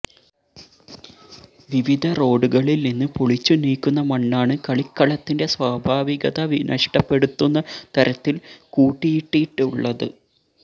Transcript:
വിവിധ റോഡുകളിൽനിന്ന് പൊളിച്ചുനീക്കുന്ന മണ്ണാണ് കളിക്കളത്തിന്റെ സ്വാഭാവികത നഷ്ടപ്പെടുത്തുന്ന തരത്തിൽ കൂട്ടിയിട്ടിട്ടുള്ളത്